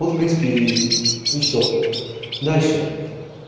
вот в принципе и всё дальше